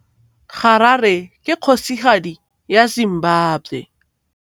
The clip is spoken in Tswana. Harare ke kgosigadi ya Zimbabwe.